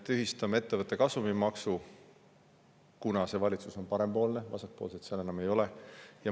Me tühistame ettevõtte kasumimaksu, kuna see valitsus on parempoolne, vasakpoolseid seal enam ei ole.